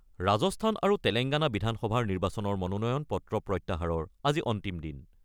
ৰাজস্থান আৰু তেলেংগানা বিধানসভা নিৰ্বাচনৰ মনোনয়ন-পত্ৰ প্ৰত্যাহাৰৰ আজি অন্তিম দিন।